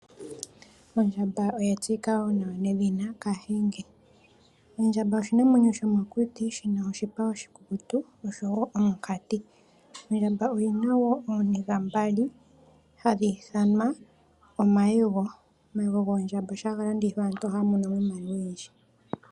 Ondjamba oya tseyika nedhina kathinge, ondjamba oshinamwenyo shomokuti shina oshipa oshikukutu nosho wo omukati, Ondjamba oyina ooniga mbali hadhi ithanwa omayego goondjamba. Omayego goondjamba shampa omuntu ega landitha oha mono mo iimaliwa oyindji.